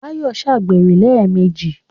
Báyọ̀ ṣàgbèrè lẹ́ẹ̀mejì.